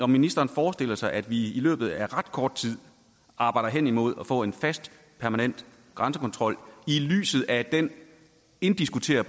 ministeren forestiller sig at vi i løbet af ret kort tid arbejder hen imod at få en fast permanent grænsekontrol i lyset af den indiskutable